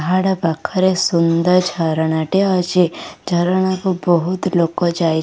ଶାହାଡ଼ା ପାଖରେ ସୁନ୍ଦର ଝରଣା ଟେ ଅଛି ଝରଣା କୁ ବହୁତ ଲୋକ ଯାଇ --